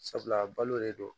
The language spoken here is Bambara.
Sabula balo de don